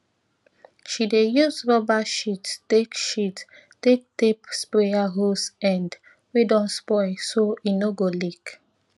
she dey use rubber sheet take sheet take tape sprayer hose end wey don spoil so e no go leak